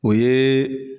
O ye